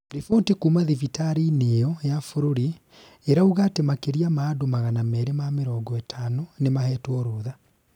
Riboti kuuma thibitarĩ-inĩ ĩyo ya bũrũri iruga atĩ makĩria ma andũ magana meri ma mirongo itano nĩ mahetwo rutha.